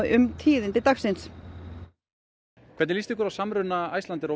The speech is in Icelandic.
um tíðindi dagsins hvernig líst ykkur á samruna Icelandair og